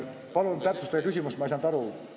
Palun täpsustage küsimust!